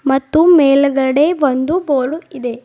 ಮತ್ತು ಮೇಲ್ಗಡೆ ಒಂದು ಬೋರ್ಡ್ ಇದೆ.